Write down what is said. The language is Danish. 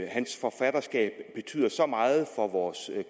hans forfatterskab betyder så meget for vores